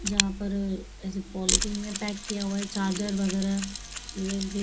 यहां पर ऐसे पॉलिथीन में पैक किया हुआ है चारजर वगैरह इमेज भी--